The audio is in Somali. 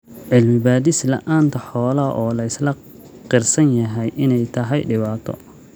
Cilmi baadhis la�aanta xoolaha oo la isla qirsan yahay in ay tahay dhibaato.